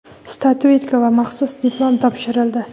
statuetka va maxsus diplom topshirildi.